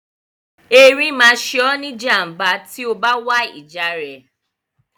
Erin máa ṣe ọ́ ní ìjàm̀bá tí o bá wá ìjà rẹ̀.